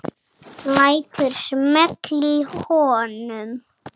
Lætur smella í honum.